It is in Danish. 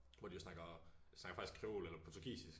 Hvor de jo snakker de snakker faktisk creol eller portugisisk